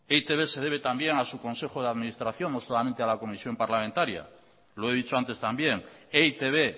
e i te be se debe también a su consejo de administración no solamente a la comisión parlamentaria lo he dicho antes también e i te be